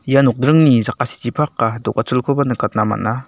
ia nokdringni jakasichipaka do·gacholkoba nikatna gita man·a.